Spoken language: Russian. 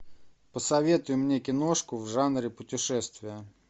посоветуй мне киношку в жанре путешествия